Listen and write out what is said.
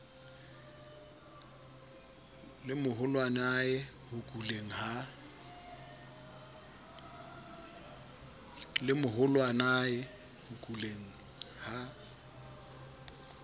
le moholwanae ho kuleng ha